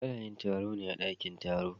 Ana yin taro ne a dakin taro.